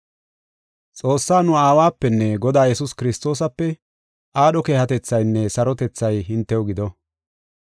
Xoossaa nu Aawapenne Godaa Yesuus Kiristoosape aadho keehatethaynne sarotethay hintew gido.